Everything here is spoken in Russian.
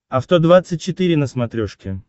авто двадцать четыре на смотрешке